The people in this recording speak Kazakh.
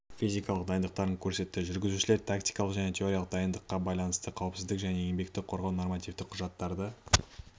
физикалық дайындықтарын көрсетті жүргізушілер тактикалық және теориялық дайындыққа байланысты қауіпсіздік және еңбекті қорғау нормативтік құжаттарды